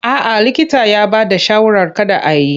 A'a likita ya bada shawarar kada a yi.